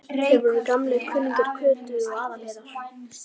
Þeir voru gamlir kunningjar Kötu og